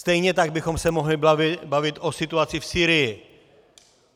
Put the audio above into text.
Stejně tak bychom se mohli bavit o situaci v Sýrii.